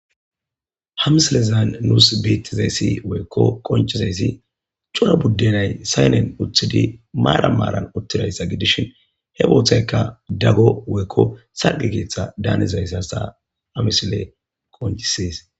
Hamsilezan nuus biittizayssi woykko qonchizayssi cura buddenay saynen uthidi maara maaran uttidayssa gidishin he booththaykka daggo woykko sargi keeththa daanizayss hasta amisile qoncisees